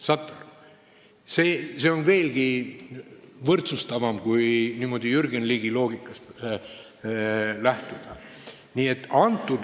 Saate aru, see on veelgi võrdsustavam, kui niimoodi Jürgen Ligi loogikast lähtuda.